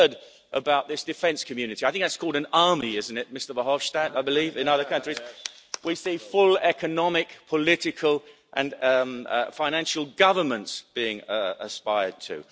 We've heard about this defence community I think that's called an army, isn't it Mr Verhofstadt, I believe in other countries we see full economic, political and financial governance being aspired